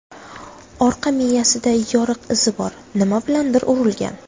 Orqa miyasida yoriq izi bor, nima bilandir urilgan.